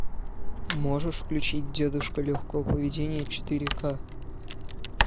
можешь включить дедушка легкого поведения четыре к